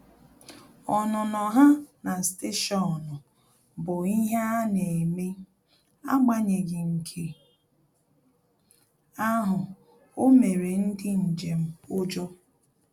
Ọnụnọ ha na stationu bụ ihe ana eme, agbanyeghi nke ahụ, o mere ndị njem ujọ